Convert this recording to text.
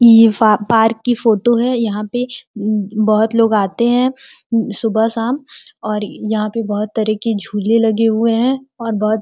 ये फा पार्क की फोटो है। यहाँ पे बहुत लोग आते हैं सुबह शाम और यहाँ पे बहुत तरह के झूले लगे हुए है और बहुत --